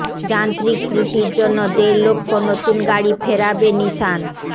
যান্ত্রিক ত্রুটির জন্য দেড় লক্ষ নতুন গাড়ি ফেরাবে নিসান